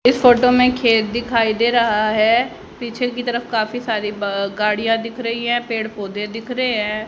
इस फोटो में खेत दिखाई दे रहा है पीछे की तरफ काफी सारी गाड़ियां दिख रही है पेड़ पौधे दिख रहे हैं।